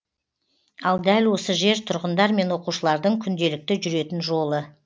ал дәл осы жер тұрғындар мен оқушылардың күнделікті жүретін жолы